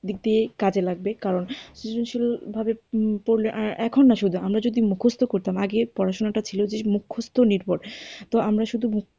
দিকদিয়ে কাজে লাগবে কারণ সৃজনশীল ভাবে পড়লে আর এখন আমরা যদি মুখস্ত করতাম আগে পড়াশুনাটা ছিল মুখস্ত নির্ভর। তো আমরা শুধু